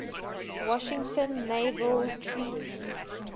washington naval treaty